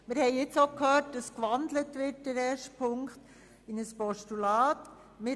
Wie wir gehört haben, wird Ziffer 1 in ein Postulat gewandelt.